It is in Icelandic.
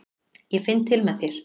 Ég finn til með þér.